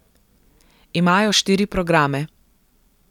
Imajo štiri programe.